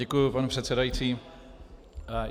Děkuji, pane předsedající.